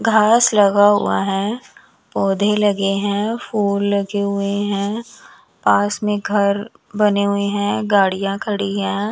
घास लगा हुआ है पौधे लगे है फूल लगे हुए है पास में घर बने हुए हैं गाड़ियां खड़ी हैं।